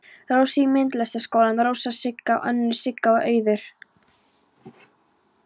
Rósu í Myndlistaskólanum, Rósa, Sigga, önnur Sigga og Auður.